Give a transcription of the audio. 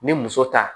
Ni muso ta